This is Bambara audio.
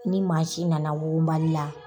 Ni mansin nana wugunbali la.